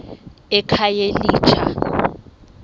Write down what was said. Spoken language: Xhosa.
ekhayelitsha